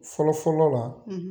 Fɔlɔ fɔlɔ la